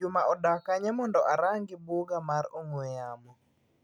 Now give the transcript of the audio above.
Juma odak kanye mondo orangi buga mar ong'ue yamo.